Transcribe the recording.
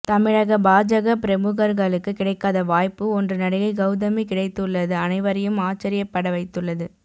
தமிழக பாஜக பிரமுகர்களுக்கு கிடைக்காத வாய்ப்பு ஒன்று நடிகை கௌதமி கிடைத்துள்ளது அனைவரையும் ஆச்சரியப்பட வைத்துள்ளது